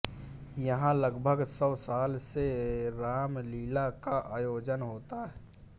यहां लगभग सौ साल से रामलीला का आयोजन होता है